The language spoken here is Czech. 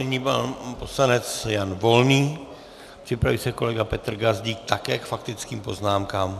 Nyní pan poslanec Jan Volný, připraví se kolega Petr Gazdík, také k faktickým poznámkám.